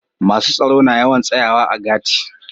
Masun tsaro na yawan tsayawa a gati'.